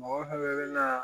Mɔgɔ fana bɛ na